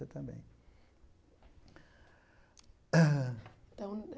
É também. então